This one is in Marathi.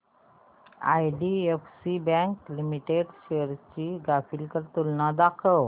आयडीएफसी बँक लिमिटेड शेअर्स ची ग्राफिकल तुलना दाखव